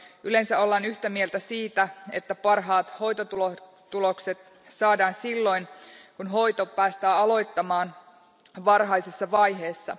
Yleensä ollaan yhtä mieltä siitä, että parhaat hoitotulokset saadaan silloin, kun hoito päästään aloittamaan varhaisessa vaiheessa.